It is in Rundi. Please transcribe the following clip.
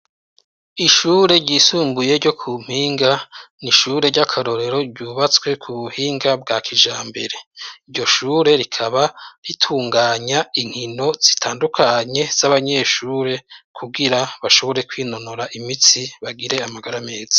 Ishure ryisumbuye ryo ku Mpinga ni ishure ry'akarorero ryubatswe ku buhinga bwa kijambere. Iryo shure rikaba ritunganya inkono zitandukanye z'abanyeshure kugira bashobore kwinonora imitsi bagire amagara meza.